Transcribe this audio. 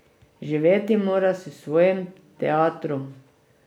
Živeti mora s svojim teatrom.